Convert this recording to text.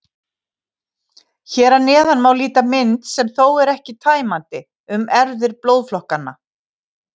Hér að neðan má líta mynd, sem þó er ekki tæmandi, um erfðir blóðflokkanna.